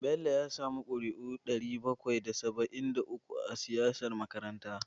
Bello ya sami ƙuri'u ɗari bakwai da saba'in da uku a siyar makaranta.